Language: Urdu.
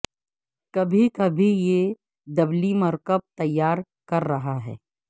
کبھی کبھی یہ دبلی مرکب تیاری کر رہا ہے